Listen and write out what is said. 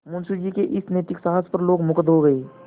मुंशी जी के इस नैतिक साहस पर लोग मुगध हो गए